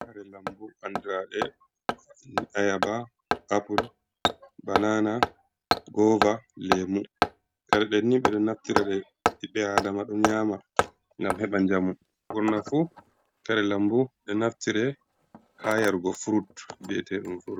Kare lambu andirade ayaba apple banana gova lemu, kare deni ɓedo naftirade ɓiɓɓe adama do nyama gam heba jamu burna fu kare lambu be naftire ha yarugo frut viyete furut.